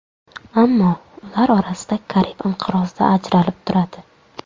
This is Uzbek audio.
Ammo ular orasida Karib inqirozi ajralib turadi.